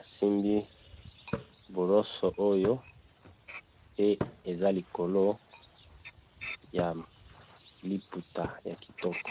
asimbi boroso oyo pe eza likolo ya liputa ya kitoko.